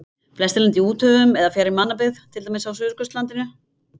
Flestir lenda í úthöfunum eða fjarri mannabyggð, til dæmis á Suðurskautslandinu.